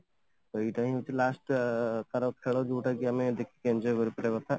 ସେଇପାଇଁ ଏଇଟା ହଉଛି last ତାର ଖେଳ ଯଉଟା କି ଆମେ ଦେଖିକି enjoy କରିପାରିବା କଥା